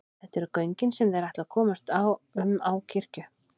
Þetta eru göngin sem þeir ætla að komast um á kirkju.